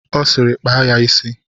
Ọ sịịrị kpaa ya isi!